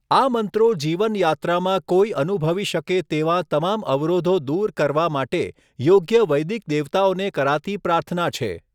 આ મંત્રો જીવન યાત્રામાં કોઈ અનુભવી શકે તેવાં તમામ અવરોધો દૂર કરવા માટે યોગ્ય વૈદિક દેવતાઓને કરાતી પ્રાર્થના છે.